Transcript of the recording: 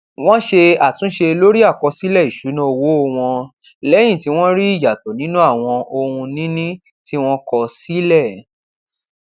wón ṣe àtúnṣe lórí àkọsílè ìṣúná owó wọn lẹyìn tí wọn rí ìyàtò nínú àwọn ohunìní tí wón kọ sílẹ